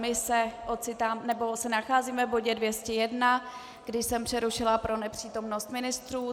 My se ocitáme - nebo se nacházíme v bodě 201, kdy jsem přerušila pro nepřítomnost ministrů.